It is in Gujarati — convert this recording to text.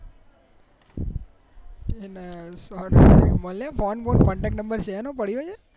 મળે ફોને contactnumber છે એનો પડ્યો છે